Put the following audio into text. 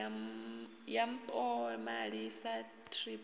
ya mpomali sa thrip i